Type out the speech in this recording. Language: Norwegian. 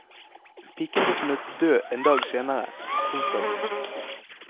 Piken ble funnet død en dag senere. punktum